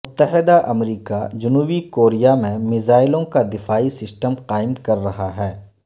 متحدہ امریکہ جنوبی کوریا میں میزائیلوں کا دفاعی سسٹم قائم کررہا ہے